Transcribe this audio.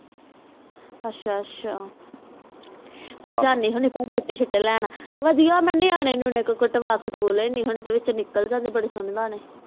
ਅੱਛਾ ਅੱਛਾ ਮੈਂ ਜਨੀ ਹੁੰਦੇ ਆ ਚੀਤੇ ਛੁਟੇ ਲੈਣ ਮੈਂ ਨਿਆਣੇ ਨਿਉਣੇ ਤੋਂ ਕਢਵਾ ਹੁਣ ਨਿਕਲ ਜਾਂਦੇ ਬਾਰੇ ਸੋਹਣੇ ਲਗਦੇ